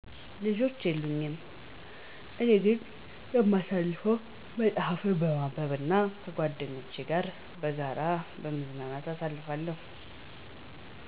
ልጆች የሉኝም። እኔ ግን የማሳልፈው መፅሐፍ በማንበብ እና ከጓድኛቼ ጋር በጋራ በመዝናናት አሳልፋለሁ።